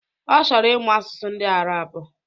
Ọ chọrọ ịmụ asụsụ ndị Arabu